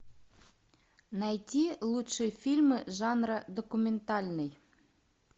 найти лучшие фильмы жанра документальный